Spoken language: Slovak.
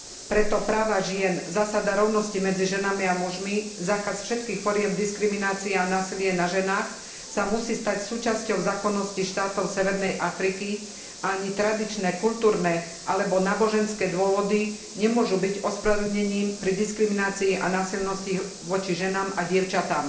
Preto práva žien, zásada rovnosti medzi ženami a mužmi, zákaz všetkých foriem diskriminácie a násilia na ženách sa musí stať súčasťou zákonnosti štátov severnej Afriky a ani tradičné kultúrne alebo náboženské dôvody nemôžu byť ospravedlnením pri diskriminácii a násilnostiach voči ženám a dievčatám.